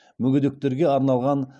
мүгедектерге арналған